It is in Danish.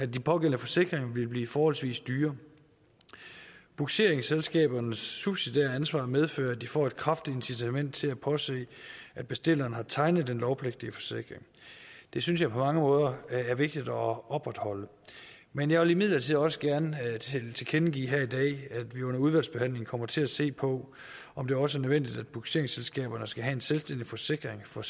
de pågældende forsikringer ville blive forholdsvis dyre bugseringsselskabernes subsidiære ansvar medfører at de får et kraftigt incitament til at påse at bestilleren har tegnet den lovpligtige forsikring det synes jeg på mange måder er vigtigt at opretholde men jeg vil imidlertid også gerne tilkendegive her i dag at vi under udvalgsbehandlingen kommer til at se på om det også er nødvendigt at bugseringsselskaberne skal have en selvstændig forsikring for